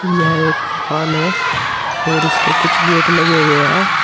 यह एक दुकान है और इसपे कुछ गेट लगे हुए हैं।